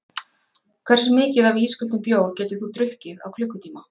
Hversu mikið af ísköldum bjór getur þú drukkið á klukkutíma?